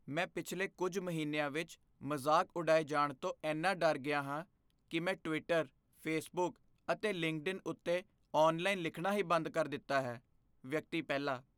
ਮੈਂ ਪਿਛਲੇ ਕੁੱਝ ਮਹੀਨਿਆਂ ਵਿੱਚ ਮਜ਼ਾਕ ਉਡਾਏ ਜਾਣ ਤੋਂ ਇੰਨਾ ਡਰ ਗਿਆ ਹਾਂ ਕੀ ਮੈਂ ਟਵਿੱਟਰ, ਫੇਸਬੁੱਕ ਅਤੇ ਲਿੰਕਡਇਨ ਉੱਤੇ ਔਨਲਾਈਨ ਲਿਖਣਾ ਹੀ ਬੰਦ ਕਰ ਦਿੱਤਾ ਹੈ ਵਿਅਕਤੀ ਪਹਿਲਾ